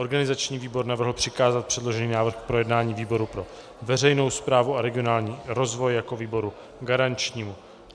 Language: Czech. Organizační výbor navrhl přikázat předložený návrh k projednání výboru pro veřejnou správu a regionální rozvoj jako výboru garančnímu.